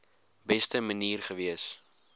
beste manier gewees